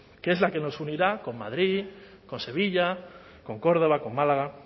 que es la que nos unirá con madrid con sevilla con córdoba con málaga